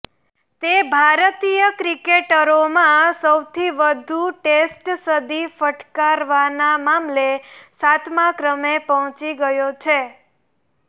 તે ભારતીય ક્રિકેટરોમાં સૌથી વધુ ટેસ્ટ સદી ફટકારવાના મામલે સાતમા ક્રમે પહોંચી ગયો છે